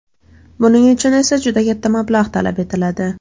Buning uchun esa juda katta mablag‘ talab etiladi.